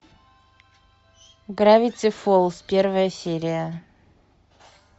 гравити фолз первая серия